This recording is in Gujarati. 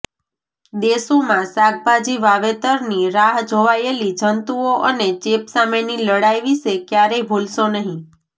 દેશોમાં શાકભાજી વાવેતરની રાહ જોવાયેલી જંતુઓ અને ચેપ સામેની લડાઈ વિશે ક્યારેય ભૂલશો નહીં